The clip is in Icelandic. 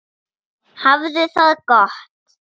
Hafðu það gott!